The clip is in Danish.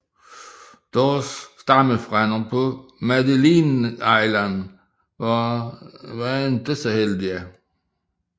Deres stammefrænder på Madeline Island var ikke så heldige